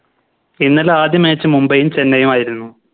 ഇന്നലെ ആദ്യ Match മുംബൈയിയും ചെന്നൈയും ആയിരുന്നു